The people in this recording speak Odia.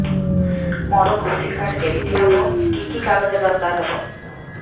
ମୋର କୃଷି କାର୍ଡ କିମିତି ହବ କି କି କାଗଜ ଦରକାର ହବ